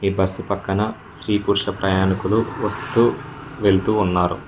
Bus పక్కన స్త్రీ పురుష ప్రయాణికులు వస్తూ వెళ్తూ ఉన్నారు.